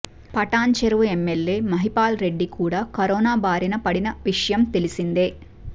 Patan చెరూ MLA Mahipal Reddy కూడా corona బారిన పడిన విషయం తెలిసిందే